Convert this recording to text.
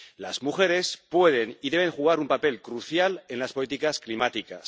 Las mujeres pueden y deben jugar un papel crucial en las políticas climáticas.